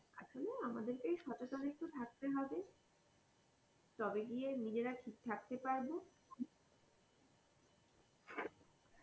আসলে আমাদেরকেই একটু সচেতন হয়ে থাকতে হবে তবে গিয়ে নিজেরা ঠিক থাকতে পারবো।